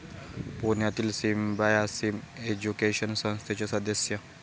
पुण्यातील Symbiosis education संस्थेचे सदस्य.